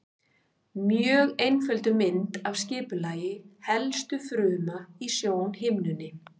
Mjög einfölduð mynd af skipulagi helstu fruma í sjónhimnunni.